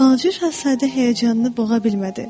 Balaca Şahzadə həyəcanını boğa bilmədi.